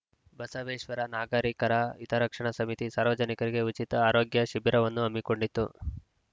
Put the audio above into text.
ಬಸವೇಶ್ವರ ನಾಗರಿಕರ ಹಿತರಕ್ಷಣಾ ಸಮಿತಿ ಸಾರ್ವಜನಿಕರಿಗೆ ಉಚಿತ ಆರೋಗ್ಯ ಶಿಬಿರವನ್ನು ಹಮ್ಮಿಕೊಂಡಿತ್ತು